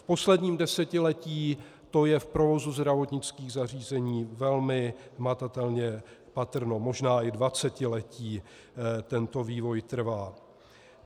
V posledním desetiletí to je v provozu zdravotnických zařízení velmi hmatatelně patrné, možná i dvacetiletí tento vývoj trvá.